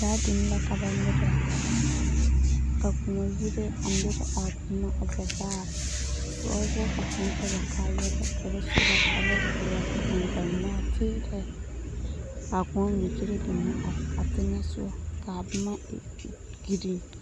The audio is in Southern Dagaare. Gaadine la ka ba mirɛ ka kõɔ yire a mirɛ a zɛvaare ba wɔboɔrɔ ka kõɔ tɔ ba kaayɛrɛɛ ka ba su ba kparɛɛ a tuuri eŋ ba nɔɔteerɛɛ ka a kõɔ mine kyire binne a teŋɛ soɡa ka a boma e ɡeren.